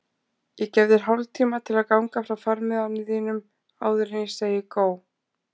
Ég gef þér hálftíma til að ganga frá farmiðanum þínum áður en ég segi gó.